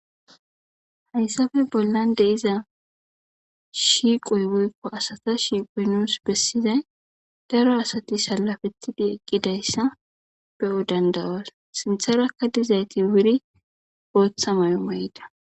Hayssafe bollande iza shiiqoy woykko asata shiiqoy nuus bessizay daro asati salafetidi eqqidayssa be'o dandawas sintharakka dizayti wuri ooththa may mayda